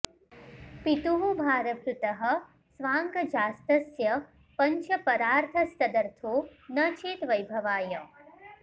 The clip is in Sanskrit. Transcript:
पितुः भारभृतः स्वांगजास्तस्य पंच परार्थस्तदर्थो न चेद् वैभवाय